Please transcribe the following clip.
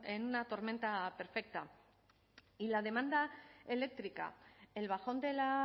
en una tormenta perfecta y la demanda eléctrica el bajón de la